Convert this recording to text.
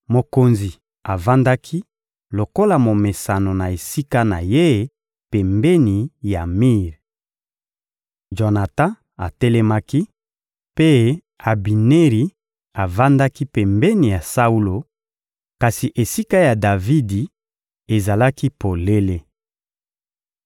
Mokonzi avandaki lokola momesano na esika na ye pembeni ya mir. Jonatan atelemaki, mpe Abineri avandaki pembeni ya Saulo, kasi esika ya Davidi ezalaki polele.